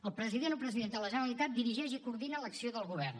el president o presidenta de la generalitat dirigeix i coordina l’acció del govern